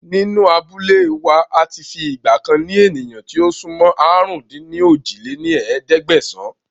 Nínú abúlé wá àti fi ìgbàkan ni ènìyàn tí ó sún mọ́ àrún-dín-ní-ojì lé ní ẹ̀ẹ́dẹ́gbẹ́sán